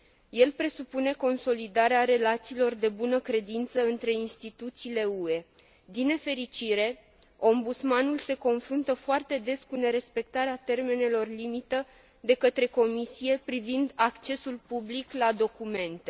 El presupune consolidarea relațiilor de bună credință între instituțiile UE. Din nefericire Ombudsmanul se confruntă foarte des cu nerespectarea termenelor limită de către Comisie privind accesul public la documente.